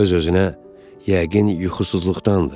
Öz-özünə yəqin yuxusuzluqdandır.